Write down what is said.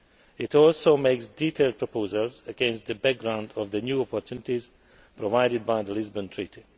It also makes detailed proposals against the background of the new opportunities provided by the Lisbon Treaty.